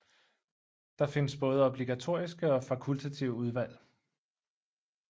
Der findes både obligatoriske og fakultative udvalg